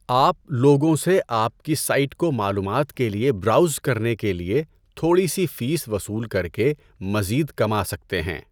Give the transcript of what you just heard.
آپ لوگوں سے آپ کی سائٹ کو معلومات کے لیے براؤز کرنے کے لیے تھوڑی سی فیس وصول کر کے مزید کما سکتے ہیں۔